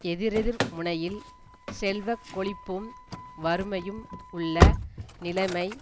எதிரெதிர் முனையில் செல்வ கொழிப்பும் வறுமையும் உள்ள நிலைமை